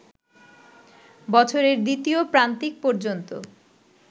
বছরের দ্বিতীয় প্রান্তিক পর্যন্ত